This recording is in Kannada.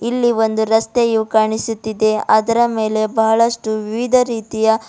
ಇಲ್ಲಿ ಒಂದು ರಸ್ತೆಯು ಕಾಣಿಸುತ್ತಿದೆ ಅದರ ಮೇಲೆ ಬಹಳಷ್ಟು ವಿವಿಧ ರೀತಿಯ--